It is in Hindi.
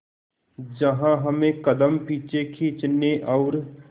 जहां हमें कदम पीछे खींचने और